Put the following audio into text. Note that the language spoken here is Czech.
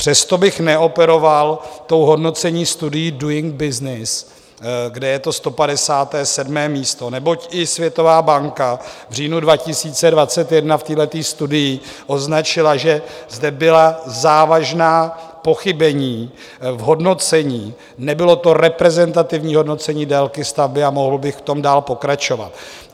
Přesto bych neoperoval tou hodnoticí studií Doing Business, kde je to 157. místo, neboť i Světová banka v říjnu 2021 v téhle studii označila, že zde byla závažná pochybení v hodnocení, nebylo to reprezentativní hodnocení délky stavby, a mohl bych v tom dál pokračovat.